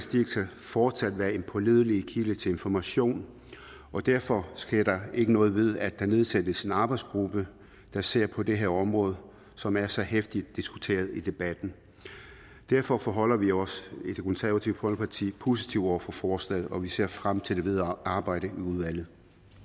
fortsat være en pålidelig kilde til information og derfor sker der ikke noget ved at der nedsættes en arbejdsgruppe der ser på det her område som er så heftigt diskuteret i debatten derfor forholder vi os positive over for forslaget og vi ser frem til det videre arbejde i udvalget